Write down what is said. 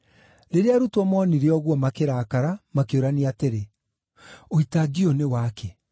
Rĩrĩa arutwo moonire ũguo, makĩrakara, makĩũrania atĩrĩ, “Ũitangi ũyũ nĩ wakĩ?